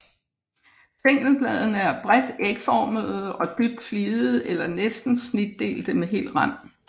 Stængelbladene er bredt ægformede og dybt fligede eller næsten snitdelte med hel rand